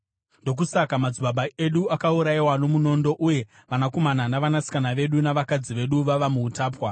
Ndokusaka madzibaba edu akaurayiwa nomunondo uye vanakomana navanasikana vedu navakadzi vedu vava muutapwa.